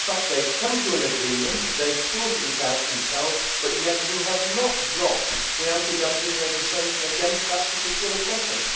In actual fact they have come to an agreement and they have sorted it out themselves, yet you have not dropped the anti dumping legislation against that particular company.